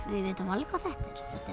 við vitum alveg hvað